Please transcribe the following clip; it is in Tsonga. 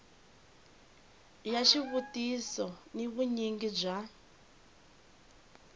ya xivutiso ni vunyingi bya